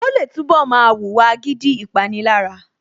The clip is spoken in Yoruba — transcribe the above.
Ó lè túnbọ̀ máa wùwà agídí / Ìpanilára